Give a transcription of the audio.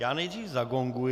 Já nejdřív zagonguji.